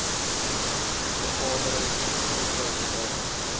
vergaderings spesifieke aandag